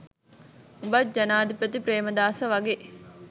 උඹත් ජනාධිපති ප්‍රේමදාස වගෙ